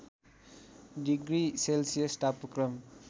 degree Celsius तापक्रम